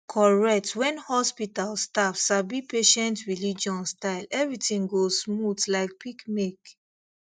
correct when hospital staff sabi patient religion style everything go smooth like peak milk